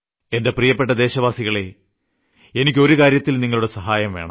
എന്റെ പ്രിയപ്പെട്ട ദേശവാസികളേ എനിയ്ക്ക് ഒരു കാര്യത്തിൽ നിങ്ങളുടെ സഹായം വേണം